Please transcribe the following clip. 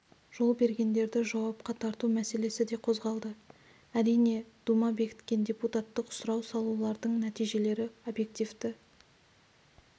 жол бергендерді жауапқа тарту мәселесі де қозғалды әрине дума бекіткен депутаттық сұрау салулардың нәтижелері объективті